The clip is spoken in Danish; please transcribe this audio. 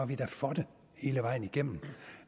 vi da for det hele vejen igennem